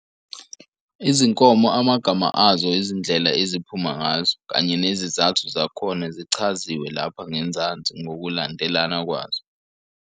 Izinkomo, amagama azo, izindlela eziphuma ngazo, kanye nezizathu zakhona zichaziwe lapha ngenzansi ngokulandelana kwazo.